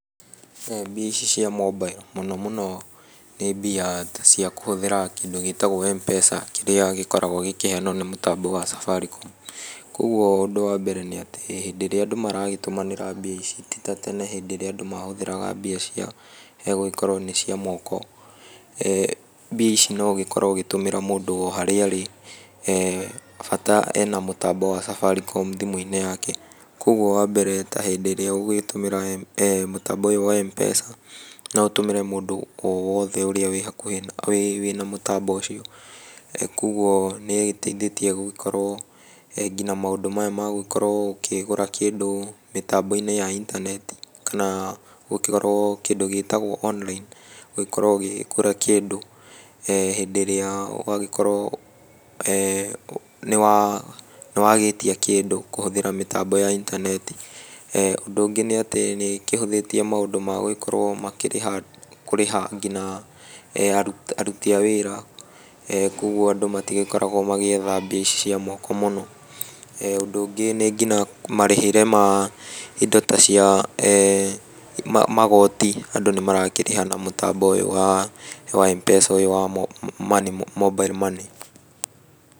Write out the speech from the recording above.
Mbia ici cia mobile, mũno mũno nĩ mbia ta cia kũhũthĩra kĩndũ gĩtagwo Mpesa, kĩrĩa gĩkoragwo gĩkĩheanwo nĩ mũtambo wa Safaricom. Kuoguo ũndũ wa mbere nĩ atĩ, hĩndĩ ĩrĩa andũ maragĩtũmarĩna mbia ici ti ta tene hĩndĩ ĩrĩa andũ mahũthĩraga mbia cia gũgĩkorwo nĩ cia moko. Mbia ici no ũgĩkorwo ũgĩtũmĩra mũndũ o harĩa arĩ bata ena mũtambo wa Safaricom thimũ-inĩ yake, kuoguo wambere ta hĩndĩ ĩrĩa ũgũgĩtũmĩra mũtambo ũyũ wa Mpesa, no ũtũmĩre mũndũ o wothe ũrĩa wĩ hakuhĩ wĩna mũtambo ũcio. Kuoguo nĩĩgĩteithĩtie gũgĩkorwo nginya maũndũ maya ma gũgĩkorwo ũkĩgũra kĩndũ mĩtambo-inĩ ya intaneti kana gũkorwo kĩndũ gĩtagwo online gũgĩkorwo ũkĩgũra kĩndũ hĩndĩ ĩrĩa ũgagĩkorwo nĩwagĩtia kĩndũ kũhũthĩra mĩtambo ya intaneti . Ũndũ ũngĩ nĩ atĩ, nĩĩkĩhũthĩtie maũndũ ma gũgĩkorwo makĩrĩha kũrĩha nginya aruti a wĩra, kuoguo andũ matigĩkoragwo magĩetha mbia ici ca moko mũno. Ũndũ ũngĩ nĩ nginya marĩhĩre ma indo ta cia magoti andũ nĩmarakĩrĩha na mũtambo ũyũ wa Mpesa ũyũ wa money mobile money.